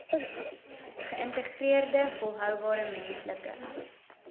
geïntegreerde volhoubare menslike